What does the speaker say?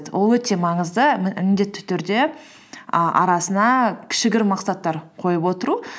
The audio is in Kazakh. ол өте маңызды м міндетті түрде і арасына кішігірім мақсаттар қойып отыру